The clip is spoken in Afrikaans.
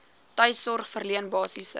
tuissorg verleen basiese